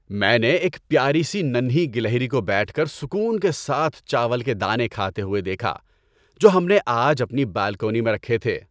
میں نے ایک پیاری سی ننھی گلہری کو بیٹھ کر سکون کے ساتھ چاول کے دانے کھاتے ہوئے دیکھا جو ہم نے آج اپنی بالکونی میں رکھے تھے۔